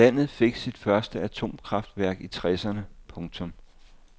Landet fik sit første atomkraftværk i tresserne . punktum